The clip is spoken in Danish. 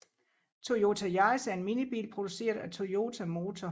Toyota Yaris er en minibil produceret af Toyota Motor